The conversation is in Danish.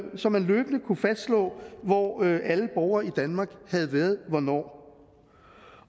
så man løbende kunne fastslå hvor alle borgere i danmark havde været hvornår